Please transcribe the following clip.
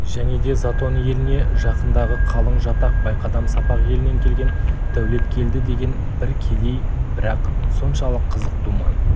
және де затон еліне жақындағы қалың жатақ байқадам-сапақ елінен келген дәулеткелді деген бір кедей бірақ соншалық қызық думан